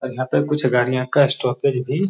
यहाँ पे कुछ गारियाँ का स्टॉपेज भी --